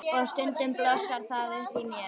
Og stundum blossar það upp í mér.